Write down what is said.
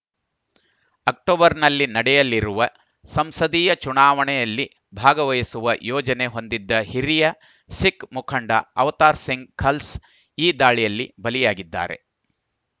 ಅಕ್ಟೋಬರ್‌ನಲ್ಲಿ ನಡೆಯಲಿರುವ ಸಂಸದೀಯ ಚುನಾವಣೆಯಲ್ಲಿ ಭಾಗವಹಿಸುವ ಯೋಜನೆ ಹೊಂದಿದ್ದ ಹಿರಿಯ ಸಿಖ್‌ ಮುಖಂಡ ಅವತಾರ್‌ ಸಿಂಗ್‌ ಖಲ್ಸ್ ಈ ದಾಳಿಯಲ್ಲಿ ಬಲಿಯಾಗಿದ್ದಾರೆ